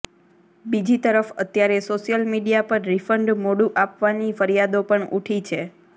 બીજી તરફ અત્યારે સોશ્યલ મીડીયા પર રીફંડ મોડુ આપવાની ફરીયાદો પણ ઉઠી છે